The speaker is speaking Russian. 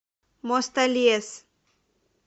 мостолес